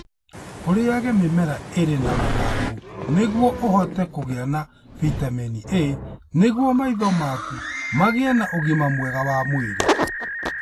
Ũrĩage mĩmera ĩrĩ na mathangũ nĩguo ũhote kũgĩa na bitamini A nĩguo maitho maku magĩe na ũgima mwega wa mwĩrĩ.